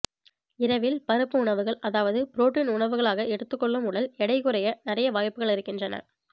இரவில் பருப்பு உணவுகள் அதாவது புரோட்டின் உணவுகளாக எடுத்துக் கொள்ளும் உடல் எடை குறைய நிறைய வாய்ப்புகள் இருக்கின்றன